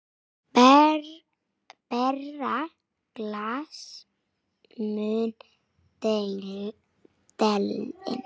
Bera glas mun delinn.